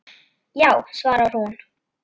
Já, svarar hún.